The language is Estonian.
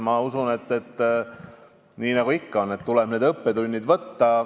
Ma usun, et nii nagu ikka tuleb õppetunnid vastu võtta.